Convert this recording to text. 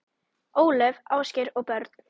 Ólöf, Ásgeir og börn.